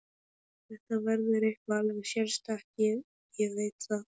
Þetta verður eitthvað alveg sérstakt, ég veit það.